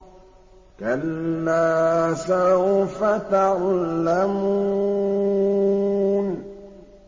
كَلَّا سَوْفَ تَعْلَمُونَ